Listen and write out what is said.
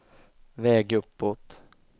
väg uppåt